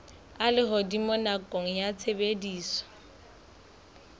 a lehodimo nakong ya tshebediso